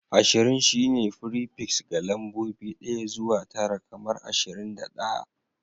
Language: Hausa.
Ashirin shine fripiks ga lambobi ɗaya zuwa tara kamar ashirin da ɗaya